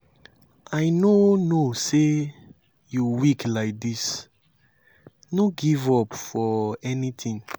i no no say you weak like dis. no give up for anything.